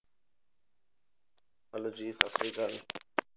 Hello ਜੀ ਸਤਿ ਸ੍ਰੀ ਅਕਾਲ